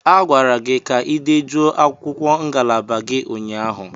A gwara gị ka ị dejuo akwụkwọ ngalaba gị ụnyaahụ!